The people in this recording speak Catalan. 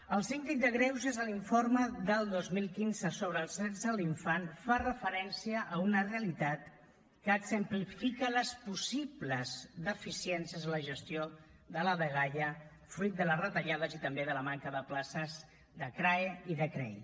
el síndic de greuges en l’informe del dos mil quinze sobre els drets de l’infant fa referència a una realitat que exemplifica les possibles deficiències a la gestió de la dgaia fruit de les retallades i també de la manca de places de crae i de crei